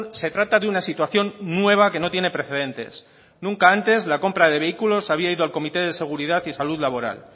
se trata de una situación nueva que no tiene precedentes nunca antes la compra de vehículos había ido al comité de seguridad y salud laboral